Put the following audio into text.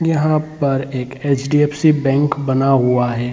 यहाँ पर एक एच.दी.एफ.सी. बैंक बना हुआ है ।